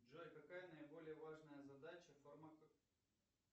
джой какая наиболее важная задача